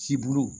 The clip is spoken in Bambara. Cibo